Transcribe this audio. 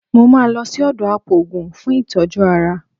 Mo máa lọ sí ọ̀dọ̀ apòògùn fún ìtọ́jú ara